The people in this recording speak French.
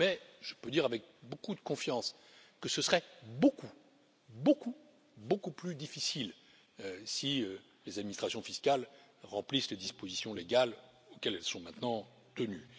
Mais je peux dire avec beaucoup de confiance que ce serait beaucoup, beaucoup, beaucoup plus difficile si les administrations fiscales remplissent les dispositions légales auxquelles elles sont maintenant tenues.